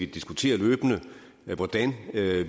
diskuterer hvordan